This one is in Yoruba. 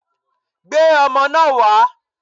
Gbé ọmọ náà wá!